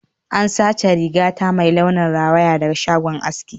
An sace rigata mai launin rawaya daga shagon aski jiya